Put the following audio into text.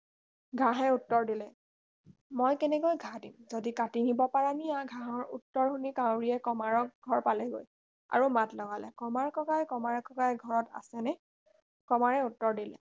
ঘাঁহে উত্তৰ দিলে মই কেনেকৈ ঘাঁহ দিম যদি কাটি নিব পাৰা নিয়া ঘাঁহৰ উত্তৰ শুনি কাউৰীয়ে কমাৰৰ ঘৰ পালেগৈ আৰু মাত লগালে কমাৰ কাই কমাৰ কাই ঘৰত আছ নে কমাৰে উত্তৰ দেলে